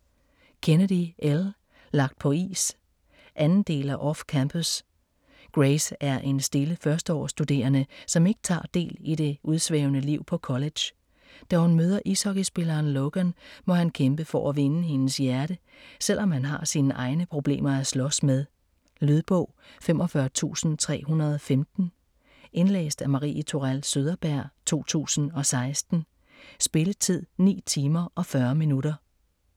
Kennedy, Elle: Lagt på is 2. del af Off-campus. Grace er en stille førsteårsstuderende, som ikke tager del i det udsvævende liv på college. Da hun møder ishockeyspilleren Logan, må han kæmpe for at vinde hendes hjerte, selvom han har sin egne problemer at slås med. Lydbog 45315 Indlæst af Marie Tourell Søderberg, 2016. Spilletid: 9 timer, 40 minutter.